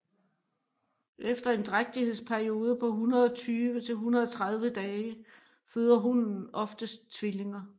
Efter en drægtighedsperiode på 120 til 130 dage føder hunnen oftest tvillinger